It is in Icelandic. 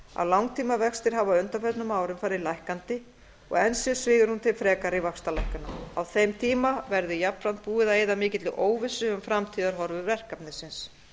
að langtímavextir hafa á undanförnum árum farið lækkandi og enn sé svigrúm til frekari vaxtalækkana á þeim tíma verði jafnframt búið að eyða mikilli óvissu um framtíðarhorfur verkefnisins